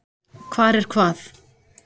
Hvar er hvað?